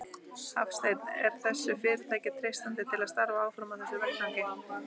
Hafsteinn: Er þessu fyrirtæki treystandi til að starfa áfram á þessum vettvangi?